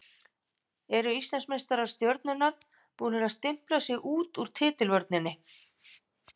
Eru Íslandsmeistarar Stjörnunnar búnir að stimpla sig út úr titilvörninni?